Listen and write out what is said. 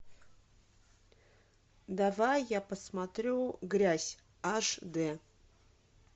давай я посмотрю грязь аш дэ